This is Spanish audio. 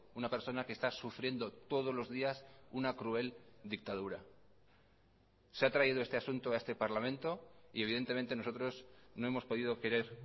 una persona que está sufriendo todos los días una cruel dictadura se ha traído este asunto a este parlamento y evidentemente nosotros no hemos podido querer